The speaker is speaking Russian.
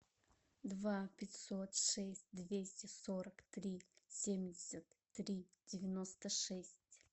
два пятьсот шесть двести сорок три семьдесят три девяносто шесть